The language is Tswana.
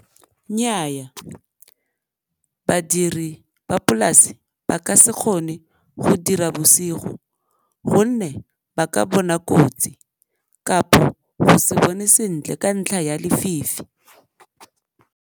Nnyaa, badiri ba polase ba ka se kgone go dira bosigo gonne ba ka bona kotsi go se bone sentle ka ntlha ya lefifi.